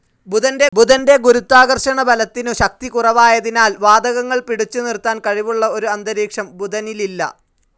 ബുധൻ്റെ ഗുരുത്വാകർഷണബലത്തിനുശക്തി കുറവായതിനാൽ വാതകങ്ങൾ പിടിച്ചുനിർത്താൻ കഴിവുള്ള ഒരു അന്തരീക്ഷം ബുധനിലില്ല.